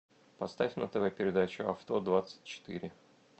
поставь на тв передачу авто двадцать четыре